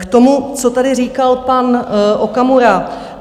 K tomu, co tady říkal pan Okamura.